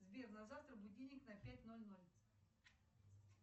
сбер на завтра будильник на пять ноль ноль